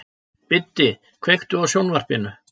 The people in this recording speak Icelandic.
Biddi, kveiktu á sjónvarpinu.